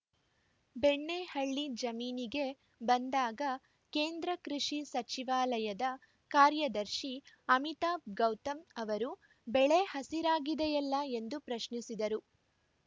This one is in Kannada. ಬೆಣ್ಣೆಹಳ್ಳಿ ಜಮೀನಿಗೆ ಬಂದಾಗ ಕೇಂದ್ರ ಕೃಷಿ ಸಚಿವಾಲಯದ ಕಾರ್ಯದರ್ಶಿ ಅಮಿತಾಬ್‌ ಗೌತಮ್‌ ಅವರು ಬೆಳೆ ಹಸಿರಾಗಿದೆಯಲ್ಲ ಎಂದು ಪ್ರಶ್ನಿಸಿದರು